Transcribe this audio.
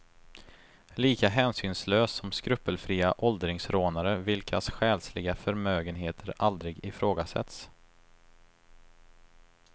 Lika hänsynslös som skrupelfria åldringsrånare vilkas själsliga förmögenheter aldrig ifrågasätts.